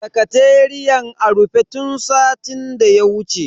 Sakateriyan a rufe tun satin daya wuce.